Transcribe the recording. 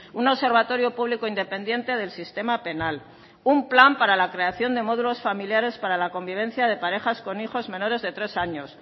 un observatorio público independiente del sistema penal un plan para la creación de módulos familiares para la convivencia de parejas con hijos menores de tres años